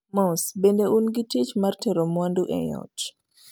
Mos, bende un gi tich mar tero mwandu e ot?